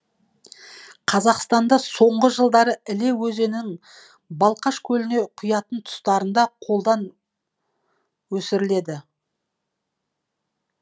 қазақстанда соңғы жылдары іле балқаш көліне құятын тұстарында қолдан өсіріледі